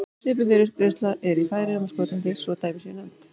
Svipuð fyrirgreiðsla er í Færeyjum og Skotlandi svo að dæmi séu nefnd.